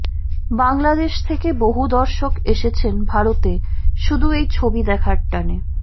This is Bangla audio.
বাংলাদেশ থেকে বহু দর্শক এসেছেন ভারতে শুধু এই ছবি দেখার টানে